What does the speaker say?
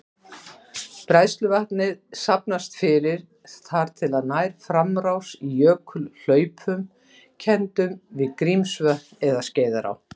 Bræðsluvatnið safnast fyrir þar til það nær framrás í jökulhlaupum kenndum við Grímsvötn eða Skeiðará.